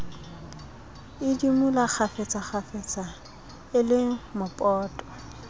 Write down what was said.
idimola kgafetsakgafetsa e le mopoto